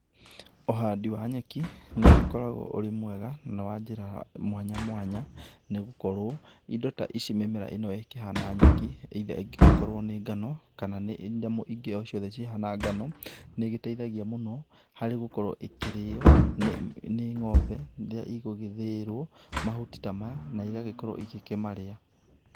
Ũhandi wa nyeki, nĩũgĩkoragwo ũrĩ mwega na wa njĩra mwanya mwanya, nĩgũkorwo indo ta ici mĩmera ĩno ĩkĩhana nyeki either ĩngĩgĩkorwo nĩ ngano kana nĩ nyamũ ingĩ o ciothe cihana ngano. Nĩ ĩgĩteithagia mũno harĩ gũkorwo ĩkĩrĩo nĩ ng'ombe rĩrĩa igũgĩthĩĩrwo mahuti ta maya, na igagĩkorwo igĩkĩmarĩa.